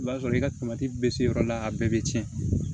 I b'a sɔrɔ i ka bɛ se yɔrɔ dɔ la a bɛɛ bɛ tiɲɛ